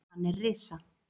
Hann er risa